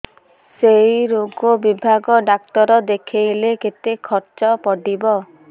ସେଇ ରୋଗ ବିଭାଗ ଡ଼ାକ୍ତର ଦେଖେଇଲେ କେତେ ଖର୍ଚ୍ଚ ପଡିବ